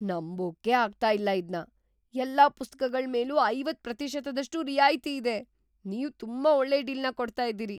ನಂಬೋಕ್ಕೇ ಆಗ್ತಾ ಇಲ್ಲ ಇದ್ನ! ಎಲ್ಲಾ ಪುಸ್ತಕಗಳ್ ಮೇಲೂ ಐವತ್ತ್ ಪ್ರತಿಶತದಷ್ಟು ರಿಯಾಯ್ತಿ ಇದೆ. ನೀವ್ ತುಂಬಾ ಒಳ್ಳೆ ಡೀಲ್‌ನ ಕೊಡ್ತಾ ಇದೀರಿ.